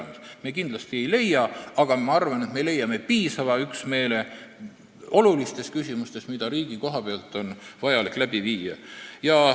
Me seda kindlasti ei leia, aga ma arvan, et me leiame piisava üksmeele olulistes küsimustes, selles, mida riigis on vaja läbi viia.